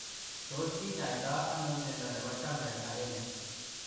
Tos kinyaitaa anooo miondoo nepoo Jampel agenge ?